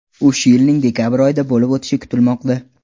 U shu yilning dekabr oyida bo‘lib o‘tishi kutilmoqda.